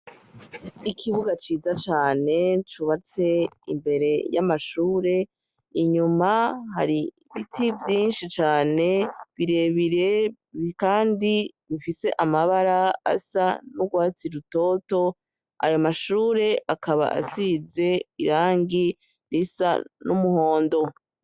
Ikibuga ciza cane cubatse imbere y'amashure inyuma hari ibiti vyinshi cane birebire, kandi bifise amabara asa n'urwatsi rutoto, aya mashure akaba asize irangi risa n’umuhondo.